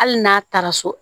Hali n'a taara so